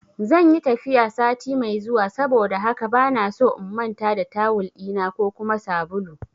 Zanyi tafiya sati mai zuwa saboda haka bana so in manta da tawul ɗina ko kuma sabulu